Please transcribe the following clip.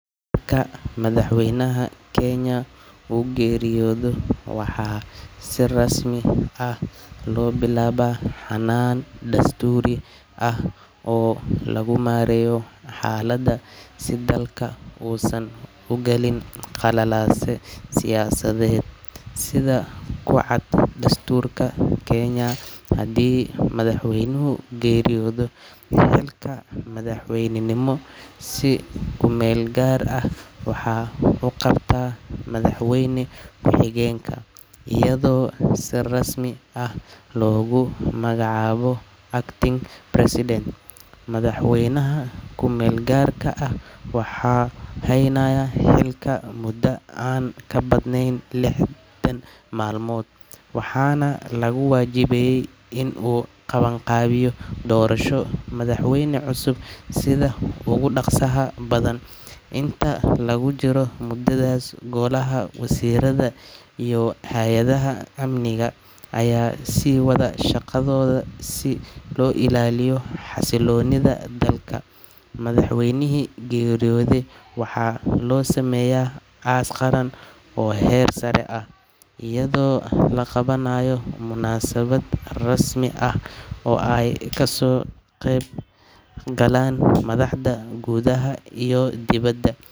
Marka madhax weynaha kenya u geeriyodo waxaa si rasmi ah lo bilawa xanan dasturi ah lagu mareyo xalaada dalka u san ugalin qalalase siyasadeed sitha kucaad dasturka kenya madhax weynuhu, xilka madaxweynka waxaa si ku meel gar ah uqabta madax weyna ku xogenka oo ku magax deer acting president madhax weynaha kumelgarka ah waxaa heynaya muda an ka badnen lix bilood intas lagu jiro hayada amniga aya sugaya amniga, oo ee kaso qeb galan madaxda gudhaha iyo diwaada.